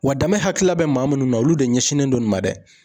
Wa danbe hakilila bɛ maa minnu na olu de ɲɛsinnen don nin ma dɛ.